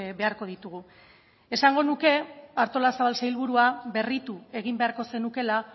beharko ditugu esango nuke artolazabal sailburua berritu egin beharko zenukeela